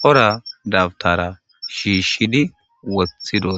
cora dabutara shishshidi woththidosona.